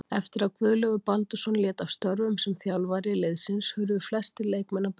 Eftir að Guðlaugur Baldursson lét af störfum sem þjálfari liðsins hurfu flestir leikmenn á braut.